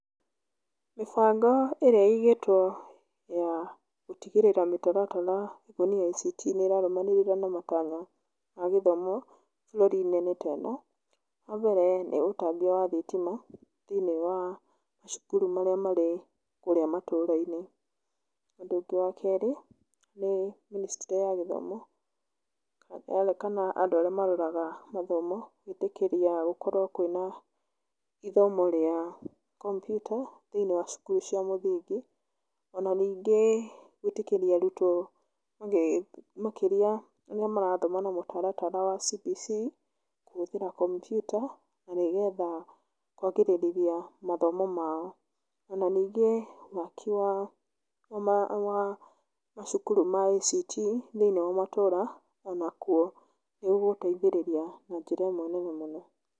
Mĩbango ĩrĩa ĩigĩtwo ya gũtigĩrĩra mĩtaratara ĩkoniĩ ICT nĩ ĩrarũmanĩrĩra na matanya ma gĩthomo bũrũri-inĩ nĩ ta ĩno; Wa mbere nĩ ũtambia wa thitima thĩinĩ wa macukuru marĩa marĩ. Ũndũ ũngĩ wa kerĩ nĩ Ministry ya gĩthomo kana andũ arĩa maroraga mathomo gwĩtĩkĩria gũkorwo kwĩna ithomo rĩa komputa thĩinĩ wa cukuru cia mũthingi. Ona ningĩ gwĩtĩkĩria arutwo makĩria arĩa marathoma na mũtaratara wa CBC kũhũthĩra kompiuta, na nĩgetha kwagĩrĩrithia mathomo mao. Ona ningĩ waki wa macukuru ma ICT thĩinĩ wa matũra onakuo nĩ ũgũteithĩrĩria na njĩra ĩmwe nene mũno.